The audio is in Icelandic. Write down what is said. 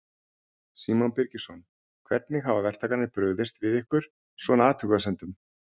Símon Birgisson: Hvernig hafa verktakarnir brugðist við ykkar, svona, athugasemdum?